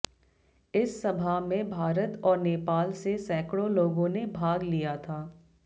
इस सभा में भारत और नेपाल से सैकड़ों लोगों ने भाग लिया था